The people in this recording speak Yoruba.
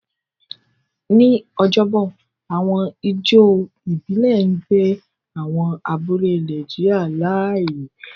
Ní ọjọ́bọ̀, àwọn ijó ìbílẹ̀ ń gbé àwọn abúlé Nàìjíríà láàyè.